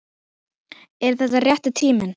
Er þetta rétti tíminn?